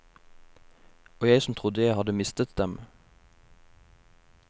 Og jeg som trodde jeg hadde mistet dem.